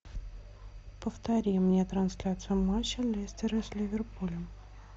повтори мне трансляцию матча лестера с ливерпулем